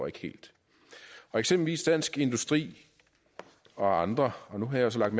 ikke helt eksempelvis dansk industri og andre og nu har jeg så lagt